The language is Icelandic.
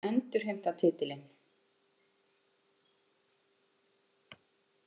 Við viljum endurheimta titilinn